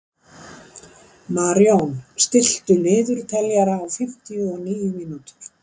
Marjón, stilltu niðurteljara á fimmtíu og níu mínútur.